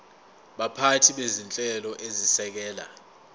baphathi bezinhlelo ezisekela